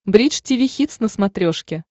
бридж тиви хитс на смотрешке